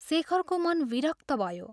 शेखरको मन विरक्त भयो।